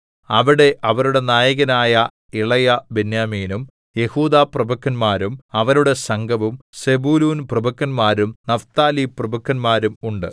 അവിടെ അവരുടെ നായകനായ ഇളയ ബെന്യാമീനും യെഹൂദാപ്രഭുക്കന്മാരും അവരുടെ സംഘവും സെബൂലൂൻപ്രഭുക്കന്മാരും നഫ്താലിപ്രഭുക്കന്മാരും ഉണ്ട്